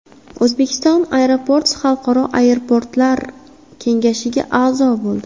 Uzbekistan Airports Xalqaro aeroportlar kengashiga a’zo bo‘ldi.